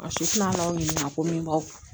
su tina la u ɲininka ko min b'aw